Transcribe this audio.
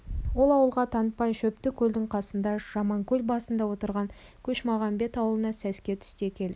ол ауылға танытпай шөптікөлдің қасындағы жаманкөл басында отырған көшмағамбет ауылына сәске түсте келдік